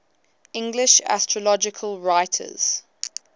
english astrological writers